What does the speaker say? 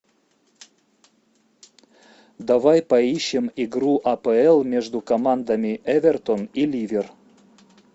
давай поищем игру апл между командами эвертон и ливер